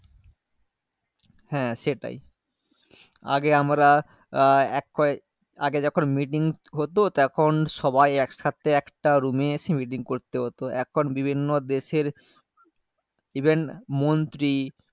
হ্যাঁ সেটাই আগে আমরা এক হয়ে আগে যখন meeting হতো তখন সবাই একসাথে একটা room এ এসে meeting করতে হতো এখন বিভিন্ন দেশের even মন্ত্রী